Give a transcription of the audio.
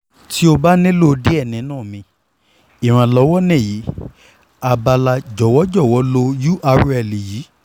ti o ba nilo diẹ ninu mi iranlọwọ ni yi abala jọwọ jọwọ lo url yi